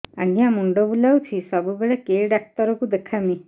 ଆଜ୍ଞା ମୁଣ୍ଡ ବୁଲାଉଛି ସବୁବେଳେ କେ ଡାକ୍ତର କୁ ଦେଖାମି